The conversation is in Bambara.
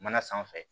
Mana sanfɛ